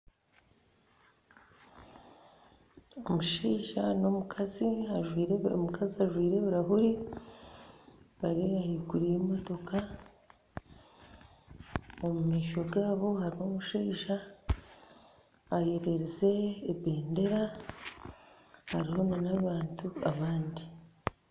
Omushaija n'omukazi , omukazi ajwire ebiraahure bari ahaiguru y'emotoka omu maisho gaabo harimu omushaija eyereerize ebendeera hariho nana abantu abandi